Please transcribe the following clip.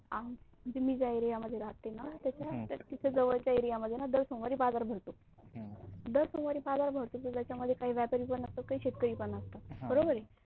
मी ज्या एरिया मध्ये राहते ना त्याच्या तिथे जवळच्या एरिया मध्ये ना दर सोमवारी बाजार भरतो. अह दर सोमवारी बाझार भरतो त्याच्या मध्ये काही व्यापारी पण असतो काही शेतकरी पण असतात. अह